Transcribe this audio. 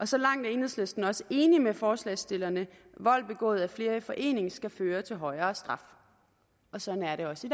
så langt er enhedslisten også enig med forslagsstillerne vold begået af flere i forening skal føre til højere straf og sådan er det også i